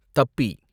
தப்பி